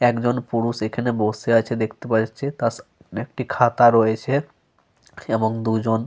একজন পুরুষ এখানে বসে আছে দেখতে পাওয়া যাচ্ছে। তার একটি খাতা রয়েছে এবং দু-জন।